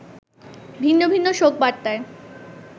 ভিন্ন ভিন্ন শোক বার্তায়